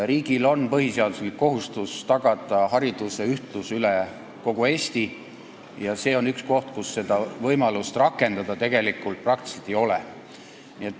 Riigil on põhiseaduslik kohustus tagada hariduse ühtlus üle kogu Eesti ja see on üks koht, kus võimalust seda täita praktiliselt ei ole.